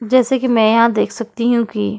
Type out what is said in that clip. जैसे कि मैं यहाँ देख सकती हूँ कि --